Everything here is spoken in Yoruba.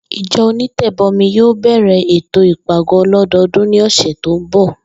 Ìjo̩ onítè̩bo̩mi yóò bè̩rè̩ ètò ìpàgó̩ o̩ló̩do̩o̩dún ní ò̩sè̩ tó ń bò̩